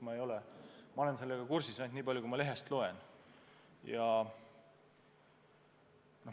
Ma olen sellega kursis ainult nii palju, kui ma lehest loen.